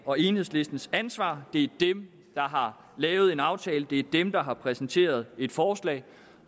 og enhedslistens ansvar det er dem der har lavet en aftale det er dem der har præsenteret et forslag